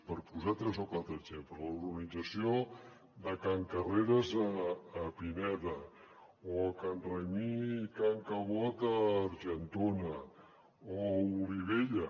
per posar tres o quatre exemples la urbanització de can carreres a pineda o can raimí i can cabot a argentona o a olivella